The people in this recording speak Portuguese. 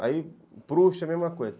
Aí Proust, a mesma coisa.